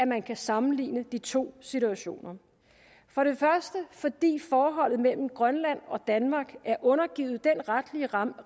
man kan sammenligne de to situationer for det første fordi forholdet mellem grønland og danmark er undergivet den retlige ramme